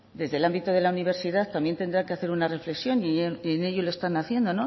desde el ámbito de la universidad también tendrá que hacer una reflexión y en ello lo están haciendo